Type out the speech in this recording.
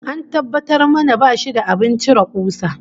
An tabbatar mana bashi da abin cire kusa